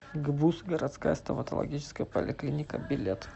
гбуз городская стоматологическая поликлиника билет